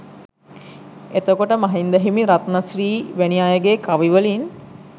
එතකොට මහින්ද හිමි රත්න ශ්‍රී වැනි අයගේ කවි වලින්